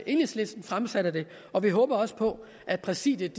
enhedslisten fremsatte det og vi håber også på at præsidiet